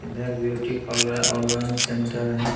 इधर beauty parlour online centre है।